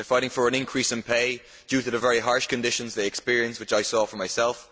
they are fighting for an increase in pay due to the very harsh conditions they experience which I saw for myself